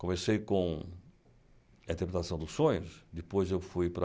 Comecei com A Interpretação dos Sonhos, depois eu fui para...